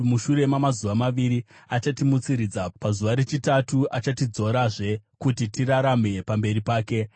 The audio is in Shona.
Mushure mamazuva maviri achatimutsiridza; pazuva rechitatu achatidzorazve, kuti tirarame pamberi pake.